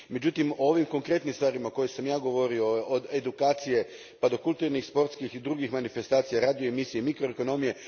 Međutim, o ovim konkretnim stvarima o kojima sam ja govorio, od edukacije pa do kulturnih, sportskih i drugih manifestacija, radio emisije, mikroekonomije.